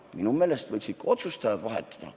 Minu meelest võiksid ka otsustajad vahetuda.